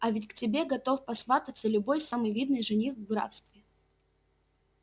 а ведь к тебе готов посвататься любой самый видный жених в графстве